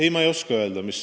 Ei, ma ei oska seda öelda.